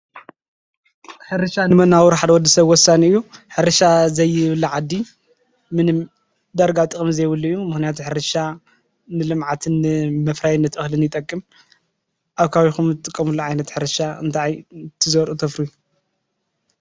ሕርሻ ንመነባብሮ ሓደ ንወዲ ሰብ ወሰኒ እዩ፡፡ ሕርሻ ዘየብሉ ዓዲ ዳርጋ ጥቅሚ የብሉ እዩ፡፡ ምክንያቱም ሕርሻ ንልምዓትን ንመፍራይነትን እክሊ ይጠቅም፡፡ ኣብ ከባቢኩ እትጥቀምሉ ዓይነት ሕርሻ እንታይ እትዘርኡ ተፍርዩ?